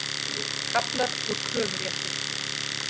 Kaflar úr kröfurétti.